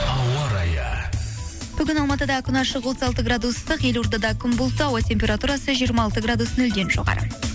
ауа райы бүгін алматыда күн ашық отыз алты градус ыстық елордада күн бұлтты ауа температурасы жиырма алты градус нөлден жоғары